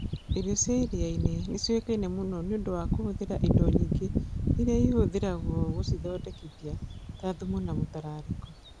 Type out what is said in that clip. Irio cia iria-inĩ nĩ ciĩkaine mũno nĩ ũndũ wa kũhũthĩra indo nyingĩ iria ihũthagĩrũo gũcithondekithia, ta thumu na mũtararĩko.